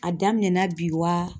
A daminɛ na bi wa